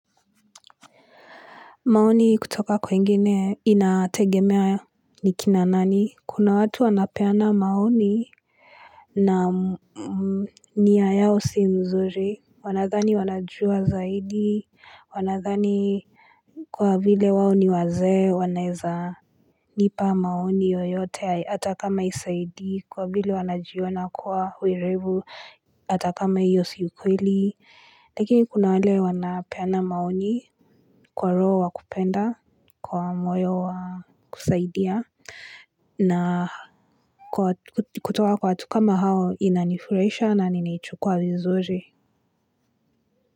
Maoni kutoka kwingine inategemea nikina nani? Kuna watu wanapeana maoni na nia yao si mzuri wanadhani wanajua zaidi Wanadhani kwa vile wao ni wazee wanaweza nipa maoni yoyote atakama isaidi kwa vile wanajiona kuwa werevu Atakama hio siukweli Lakini kuna wale wanapeana maoni kwa roho wakupenda kwa moyo wa kusaidia. Na kutoka kwa watu kama hao ina nifurahisha na nini chukwa vizuri.